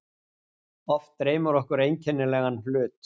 Oft dreymir okkur einkennilega hlut.